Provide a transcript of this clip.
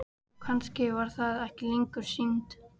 Og kannski var það ekki lengur synd.